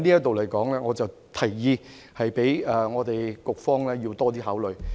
在這方面，我提議局方要多作考慮。